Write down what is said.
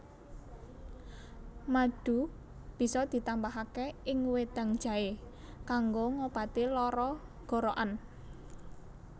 Madu bisa ditambahaké ing wedang jaé kanggo ngobati lara gorokan